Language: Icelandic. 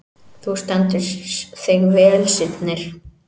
Þú stendur þig vel, Sírnir!